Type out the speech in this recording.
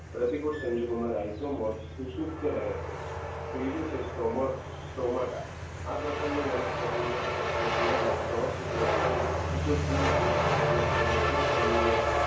પ્રતિકૂળ સંજોગોમાં રાજ્યોમાં સુષુપ્ત રહે છે. ત્રીજું છે સ્ટમક સ્ટોમાટા આ પ્રકારની વનસ્પતિમાં ફૂગમાં કવચ સૂત્રો ખીચોખીચ ગોઠવાઈને એક સમૂહમાં